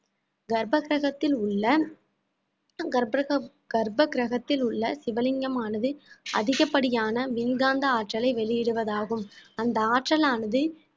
கர்ப்பசகத்தில் உள்ள கர்ப்பகிரகத்தில் உள்ள சிவலிங்கமானது அதிகப்படியான மின்காந்த ஆற்றலை வெளியிடுவதாகும் அந்த ஆற்றலானது